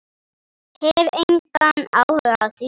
Hef engan áhuga á því.